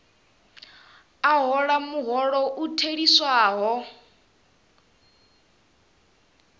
a hola muholo u theliswaho